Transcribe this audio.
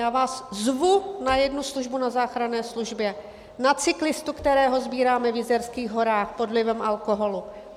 Já vás zvu na jednu službu na záchranné službě, na cyklistu, kterého sbíráme v Jizerských horách pod vlivem alkoholu.